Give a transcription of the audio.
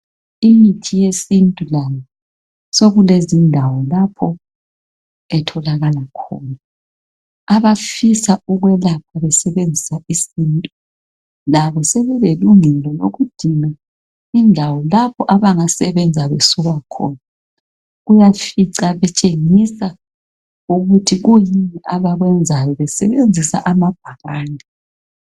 imithi yesintu layo sokulezindawo lapho etholakala khona abafisa ukwelapha besebenzisa isintu labo sebelelungelo lokudinga indawo lapho abangasebenza besuka khona uyafica betshengisa ukuthi kuyini abekwenzayo besebenzisa amabhakane